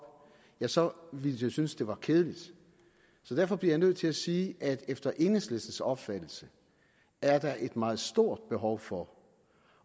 ja så ville jeg jo synes det var kedeligt så derfor bliver jeg nødt til at sige at der efter enhedslistens opfattelse er et meget stort behov for